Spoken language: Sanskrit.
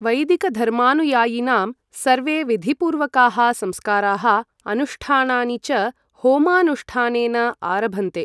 वैदिकधर्मानुयायिनां सर्वे विधिपूर्वकाः संस्काराः अनुष्ठानानि च होमानुष्ठानेन आरभन्ते।